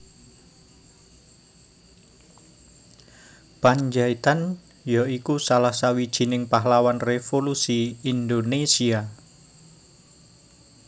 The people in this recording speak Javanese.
Pandjaitan ya iku salah sawijining pahlawan revolusi Indonésia